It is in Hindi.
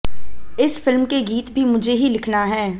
इस फिल्म के गीत भी मुझे ही लिखना है